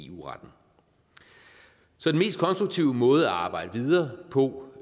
eu retten så den mest konstruktive måde at arbejde videre på